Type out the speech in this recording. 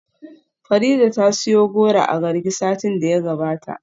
Farida ta siyo goro a Garki satin da ya gabata.